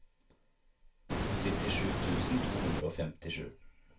syttisju tusen to hundre og femtisju